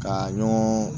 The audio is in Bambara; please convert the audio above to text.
Ka ɲɔgɔn